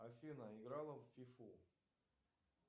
афина играла в фифу